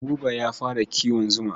Buba ya fara kiwon zuma.